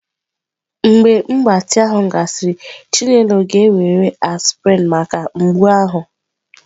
Mgbe mgbatị ahụ gasịrị, chinelo ga-ewere aspirin maka mgbu ahụ.